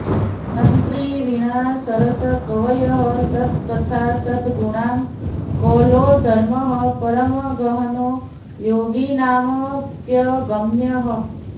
तन्त्री वीणा सरसकवयः सत्कथा सद्गुरूणां कौलो धर्मः परमगहनो योगिनामप्यगम्यः